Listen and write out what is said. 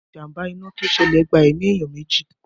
Ìjàmbá iná to ṣẹlẹ̀ gba ẹ̀mí èèyàn meji